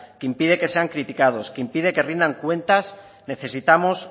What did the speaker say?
que impide que sean criticados que impide que rindan cuentas necesitamos